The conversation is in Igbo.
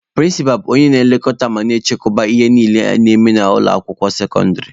Prịnsịpa bụ onye na-elekọta ma na-achịkọba ihe niile a na-eme na ụlọ akwụkwọ sekọndịrị.